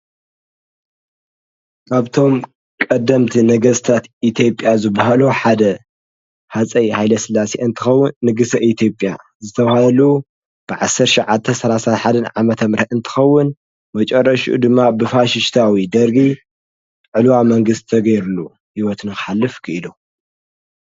ካብቶም ቀደምቲ ነገስትታት ዝበሃሉ ሃፀይ ሃይለስላሴ እንትከውን ንግሰ ኢትዮጰያዝተባሃሉ 1931ዓ.ም እንትከውን መጨረሽኡ ድማ ብፋሽታዊ ደርጊ ዕልዋ መንግስቲ ተገርሉ ሂወቱ ንክሓልፍ ኪኢሉ ።